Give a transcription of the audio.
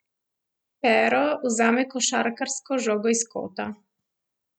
Pero vzame košarkarsko žogo iz kota.